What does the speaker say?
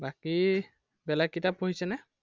বাকী বেলেগ কিতাপ পঢ়িছেনে?